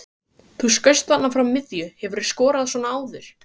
Þú skaust þarna frá miðju, hefurðu skorað svona áður?